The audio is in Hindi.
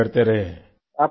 लड़ाई लड़ते रहें